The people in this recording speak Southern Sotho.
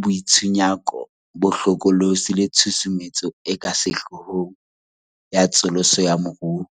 boitshunyako bo hlokolosi le tshusumetso e ka sehloohong ya tsosoloso ya moruo.